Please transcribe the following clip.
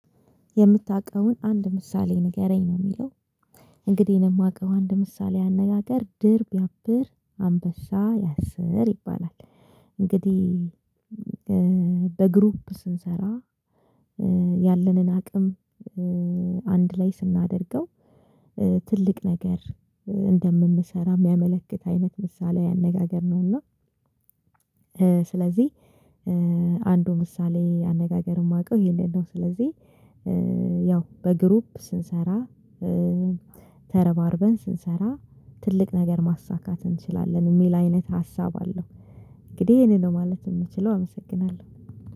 የምታውቀውን አንድ ምሳሌ ንገረኝ ነው የሚለው? እንግዲህ እኔ የማውቀው አንድ ምሳሌያዊ አነጋገር ድር ቢያብር አንበሳ ያሰር ይባላል። እንግዲህ በግሩፕ ስንሰራ ያለንን አቅም አንድ ላይ ስናደርገው ትልቅ ነገር እንደምንሰራ የሚያመለክት አይነት ምሳሌያዊ አነጋገር ነው። እና ስለዚህ አንዱ ምሳሌ አነጋገር የማውቀው ይሄንን ነው። ስለዚህ ያው በግሩፕ ስንሰራ ተረባርበን ስንሰራ ትልቅ ነገር ማሳካት እንችላለን የሚል አይነት ሀሳብ አለው። እንግዲህ ይሄንን ነው ማለት የምችለው አመሰግናለሁ